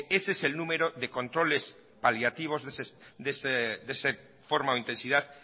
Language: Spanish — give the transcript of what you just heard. es el número de controles paliativos de esa forma o intensidad